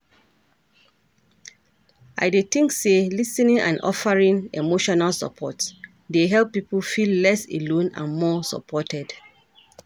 I dey think say lis ten ing and offeering emotional support dey help people feel less alone and more supported.